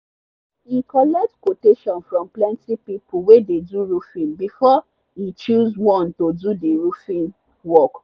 e collect qutation from plenty people wey dey do roofing before e choose one to do the roofing work.